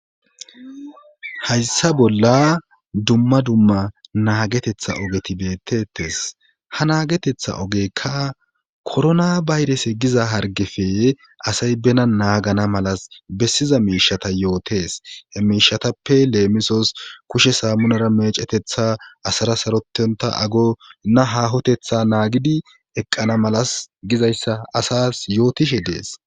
hayssa bolla dumma dumma naagetetha ogeti bettettes ha naagetetha ogekka korona bayrese giza hargefe asay bena naagana malas bessiza miishata yootes he miishatappe leemisos kushe saammunara mecetetha asara sarotonta ago na hahotetha naagidi eqqana malas gizayssa asas yootishe dees